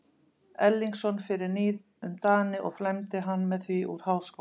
Erlingsson fyrir níð um Dani og flæmdi hann með því úr háskóla.